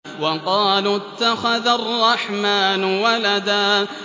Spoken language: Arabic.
وَقَالُوا اتَّخَذَ الرَّحْمَٰنُ وَلَدًا